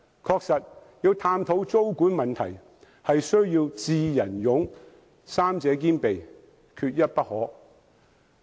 確實，探討租管問題需要"智、仁、勇"三者兼備，缺一不可。